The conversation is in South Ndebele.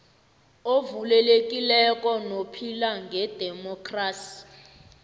ovulekileko nophila ngedemokhrasi